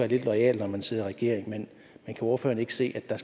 lidt loyal når man sidder i regering men kan ordføreren ikke se at der